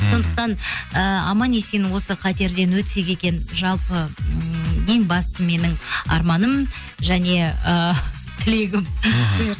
сондықтан ііі аман есен осы қатерден өтсек екен жалпы ммм ең басты менің арманым және ыыы тілегім мхм